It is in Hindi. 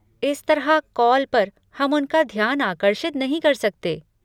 इस तरह, कॉल पर, हम उनका ध्यान आकर्षित नहीं कर सकते।